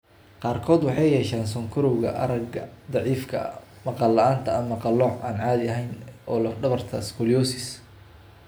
Qaarkood waxay yeeshaan sonkorowga, aragga daciifka ah, maqal la'aanta, ama qalooc aan caadi ahayn oo lafdhabarta ah (scoliosis).